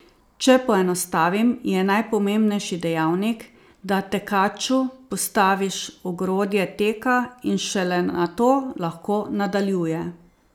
Če poenostavim, je najpomembnejši dejavnik, da tekaču postaviš ogrodje teka in šele nato lahko nadaljuje.